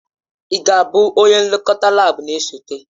Ị ga-abụ onye nlekọta laabu na-esote?